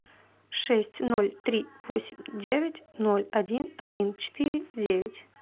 шесть ноль три восемь девять ноль один один четыре девять